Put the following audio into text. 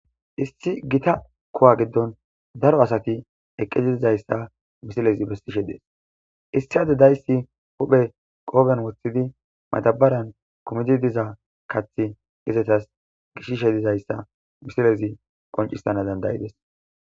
issi gita kowa giddon daro asati eqqezidizayssa misilezi bessishe dees issi ade dayssi huphe qooben woththidi matabaran kumidi diza kathi izetas gishishe dizayssa misilezi qoncissana dandayides